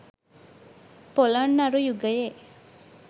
පොළොන්නරු යුගයේ